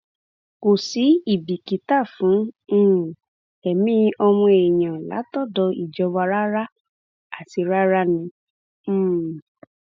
kò sí ibikítà fún um ẹmí ọmọ èèyàn látọdọ ìjọba rárá àti rárá ni um